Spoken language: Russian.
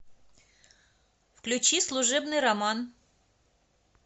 включи служебный роман